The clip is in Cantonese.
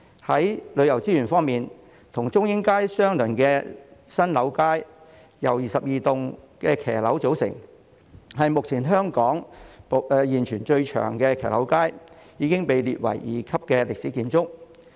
在旅遊資源方面，與中英街相鄰的新樓街，由22棟騎樓組成，是目前香港現存最長的騎樓街，已經被列為二級歷史建築。